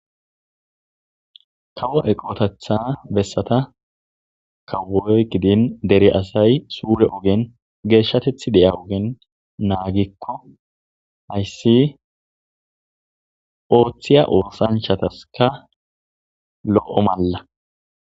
Kawo eqoteththa bessata kawoy gidin dere asay suure ogen geeshshateththi diya ogen naagikko hayssi ooththiya oosanchchataskka lo'o malla.